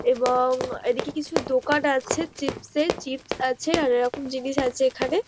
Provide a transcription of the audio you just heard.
এবং-অ এইদিকে কিছু দোকান আছে চিপস -এর চিপস আছে আর এরকম জিনিস আছে এখানে।